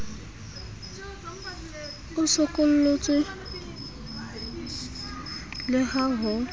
o sokolotswe le ha ho